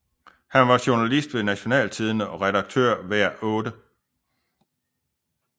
Han var journalist ved Nationaltidende og redaktør af Hver 8